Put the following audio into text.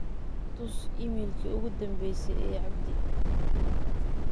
tus iimalkii ugu dambeyse ee abdi